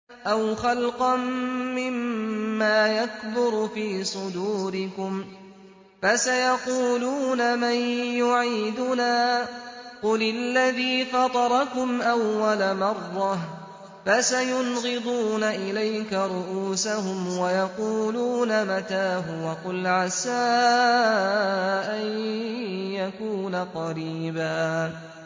أَوْ خَلْقًا مِّمَّا يَكْبُرُ فِي صُدُورِكُمْ ۚ فَسَيَقُولُونَ مَن يُعِيدُنَا ۖ قُلِ الَّذِي فَطَرَكُمْ أَوَّلَ مَرَّةٍ ۚ فَسَيُنْغِضُونَ إِلَيْكَ رُءُوسَهُمْ وَيَقُولُونَ مَتَىٰ هُوَ ۖ قُلْ عَسَىٰ أَن يَكُونَ قَرِيبًا